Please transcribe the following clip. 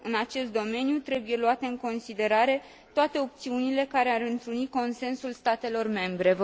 În acest domeniu trebuie luate în considerare toate opțiunile care ar întruni consensul statelor membre.